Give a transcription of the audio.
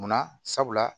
Munna sabula